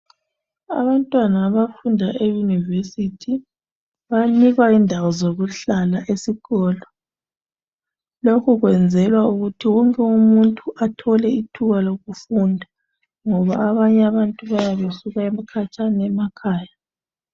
Abantwana abafunda eyunivesithi bayanikwa indawo zokuhlala esikolo. Lokhu kwenzelwa ukuthi wonke umuntu athole ithuba lokufunda ngoba abanye abantu bayabe besuka khatshana emakhaya.